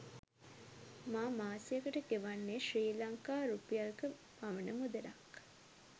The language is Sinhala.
මා මාසයකට ගෙවන්නේ ශ්‍රී ලංකා රුපියල්ක පමණ මුදලක්